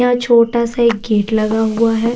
यहाँ छोटा सा एक गेट लगा हुआ है।